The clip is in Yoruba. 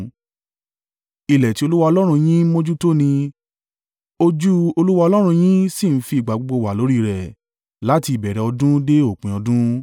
Ilẹ̀ tí Olúwa Ọlọ́run yín ń mójútó ni, ojú Olúwa Ọlọ́run yín sì ń fi ìgbà gbogbo wà lórí rẹ̀, láti ìbẹ̀rẹ̀ ọdún dé òpin ọdún.